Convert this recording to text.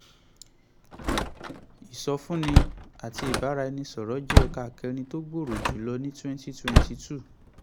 ìsọfúnni àti ìbáraẹnisọ̀rọ̀ jẹ́ ẹ̀ka kẹrin tó gbòòrò jù lọ ní twenty twenty two.